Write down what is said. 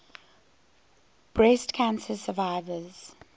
breast cancer survivors